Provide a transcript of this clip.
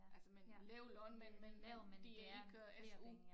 Altså men lav løn men men det er ikke SU